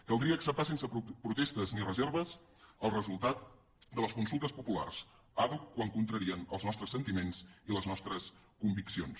caldria acceptar sense protestes ni reserves el resultat de les consultes populars àdhuc quan contrarien els nostres sentiments i les nostres conviccions